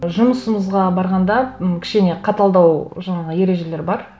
жұмысымызға барғанда м кішкене қаталдау жаңағы ережелер бар